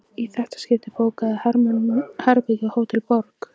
Í þetta skipti bókaði Hermann herbergi á Hótel Borg.